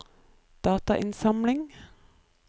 datainnsamling